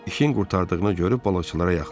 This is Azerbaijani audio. İşin qurtardığını görüb balıqçılara yaxınlaşdılar.